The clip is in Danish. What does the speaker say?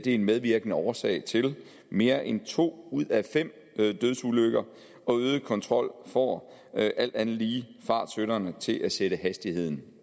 en medvirkende årsag til mere end to ud af fem dødsulykker øget kontrol får alt andet lige fartsynderne til at sætte hastigheden